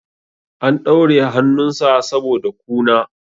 an daure hannunsa saboda kuna